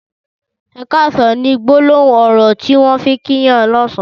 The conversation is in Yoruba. ''Ẹ kàsán'' ni gbólóhùn ọrọ tiwọn fi n kì yàn lọ̀sán